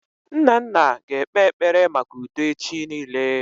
Nnanna ga ekpe ekpere maka udo echi niile